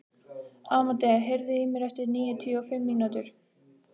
Amadea, heyrðu í mér eftir níutíu og fimm mínútur.